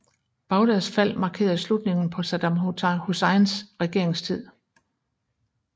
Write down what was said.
Bagdads fald markerede slutningen på Saddam Husseins regeringstid